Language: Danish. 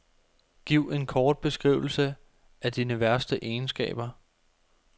Giv en kort beskrivelse af dine værste egenskaber.